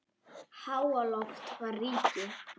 Háaloft var ríki